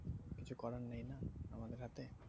কিছু করার নেই না আমাদের হাতে